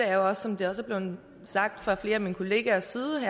er jo som det også er blevet sagt fra flere af mine kollegers side